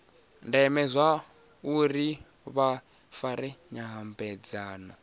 ndeme zwauri vha fare nyambedzano